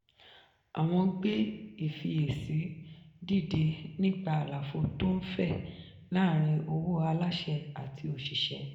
àwọn gbé ìfiyèsí dìde nípa àlàfo tó ń fẹ̀ láàrin owó aláṣẹ àti òṣìṣẹ́.